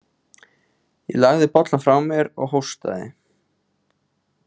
Ég lagði bollann frá mér og hóstaði.